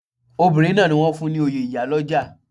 Obinrin náà ni wọ́n fún ní oyè ìyálọ́jà.